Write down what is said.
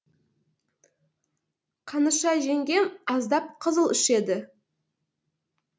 қаныша жеңгем аздап қызыл ішеді